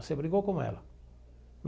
Você brigou com ela.